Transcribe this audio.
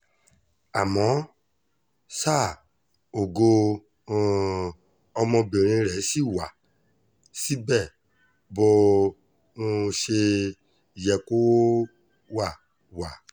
àmọ́ ṣá ògo um ọmọbìnrin rẹ̀ ṣì wá síbẹ̀ bó um ṣe yẹ kó wá wá